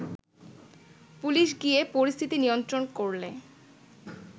police গিয়ে পরিস্থিতি নিয়ন্ত্রণ করলে